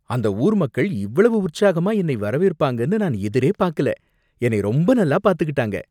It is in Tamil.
அந்த ஊர் மக்கள் இவ்வளவு உற்சாகமா என்னை வரவேற்பாங்கன்னு நான் எதிரே பாக்கல, என்னை ரொம்ப நல்லா பார்த்துக்கிட்டாங்க